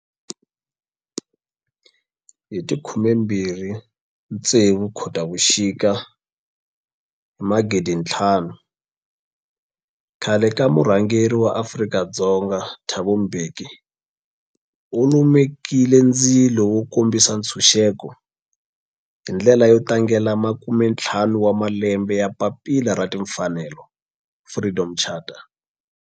Hi ti 26 Khotavuxika 2005 khale ka murhangeri wa Afrika-Dzonga Thabo Mbeki u lumekile ndzilo wo kombisa ntshuxeko, hi ndlela yo tlangela makumentlhanu wa malembe ya papila ra timfanelo, Freedom Charter.